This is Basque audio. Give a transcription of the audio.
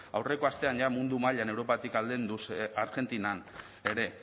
aurreko astean jada mundu mailan europatik aldenduz argentinan ere